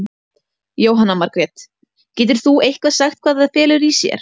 Jóhanna Margrét: Getur þú eitthvað sagt hvað það felur í sér?